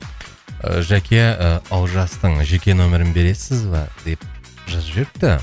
ыыы жәке ыыы олжастың жеке нөмерін бересіз ба деп жазып жіберіпті